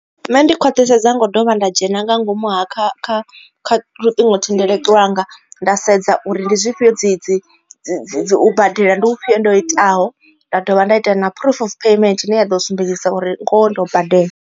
Nṋe ndi khwathisedza ngo dovha nda dzhena nga ngomu ha kha kha kha luṱingothendeleki lwanga nda sedza uri ndi zwifhio dzi dzi dzi u badela ndi hu fhiyo ndo itaho nda dovha nda ita na proof of payment ine ya ḓo sumbedzisa uri ngoho ndo badela.